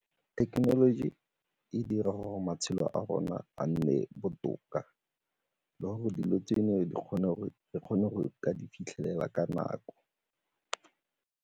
Thekenoloji e dira gore matshelo a rona a nne botoka le gore dilo tse re kgone go di fitlhelela ka nako.